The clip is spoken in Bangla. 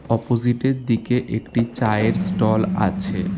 অপজিটের দিকে একটি চায়ের স্টল আছে।